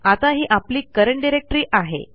आता ही आपली करंट डायरेक्टरी आहे